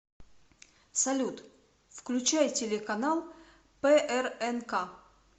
салют включай телеканал прнк